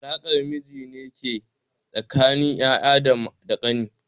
Alaƙar jini ne ke tsakanin yaya da ƙani.